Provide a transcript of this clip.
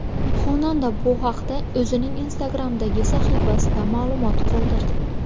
Xonanda bu haqda o‘zining Instagram’dagi sahifasida ma’lumot qoldirdi .